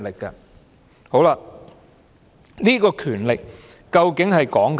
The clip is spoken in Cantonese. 這個權力究竟是指甚麼？